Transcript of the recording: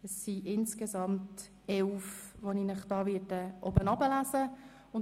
Es sind insgesamt elf Petitionen, deren Titel ich Ihnen vorlesen werde.